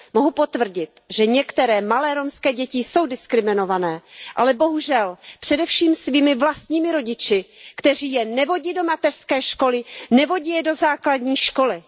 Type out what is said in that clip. Mohu potvrdit, že některé malé romské děti jsou diskriminované, ale především svými vlastními rodiči, kteří je nevodí do mateřské školy, nevodí je do základní školy.